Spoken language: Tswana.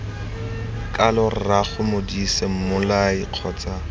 kalo rraago modise mmolai kgotsa